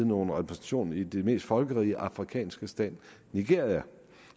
nogen repræsentation i den mest folkerige afrikanske stat nigeria